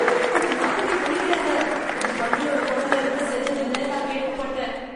அந்த மாத்திரைய முழுங்கிடாத. அது பன்னியோட குடல்ல இருந்து செஞ்சதுன்னு நான் கேள்விப்பட்டேன்.